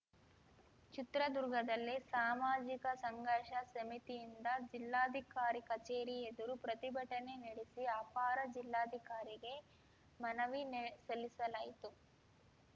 ಚಿತ್ರದುರ್ಗದಲ್ಲಿ ಸಾಮಾಜಿಕ ಸಂಘರ್ಷ ಸಮಿತಿಯಿಂದ ಜಿಲ್ಲಾಧಿಕಾರಿ ಕಚೇರಿ ಎದುರು ಪ್ರತಿಭಟನೆ ನೆಡೆಸಿ ಅಪರ ಜಿಲ್ಲಾಧಿಕಾರಿಗೆ ಮನವಿ ಸಲ್ಲಿಸಲಾಯಿತು